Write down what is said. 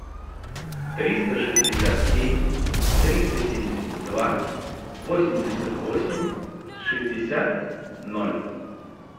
триста шестьдесят семь триста семьдесят два восемьдесят восемь шестьдесят ноль